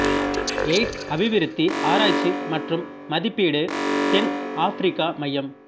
AIDS அபிவிருத்தி ஆராய்ச்சி மற்றும் மதிப்பீடு தென் ஆப்பிரிக்கா மையம்